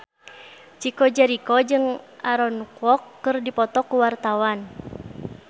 Chico Jericho jeung Aaron Kwok keur dipoto ku wartawan